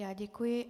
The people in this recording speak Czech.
Já děkuji.